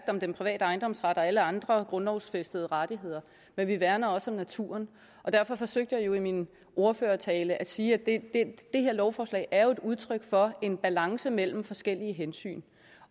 om den private ejendomsret og alle andre grundlovsfæstede rettigheder men vi værner også om naturen derfor forsøgte jeg i min ordførertale at sige at det her lovforslag er udtryk for en balance mellem forskellige hensyn